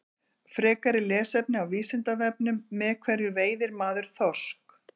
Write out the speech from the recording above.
Frekara lesefni á Vísindavefnum: Með hverju veiðir maður þorsk?